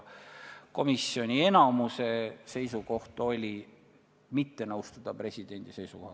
Komisjoni enamuse seisukoht oli mitte nõustuda presidendi seisukohaga.